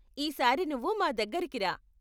ఈసారి నువ్వు మా దగ్గరకి రా.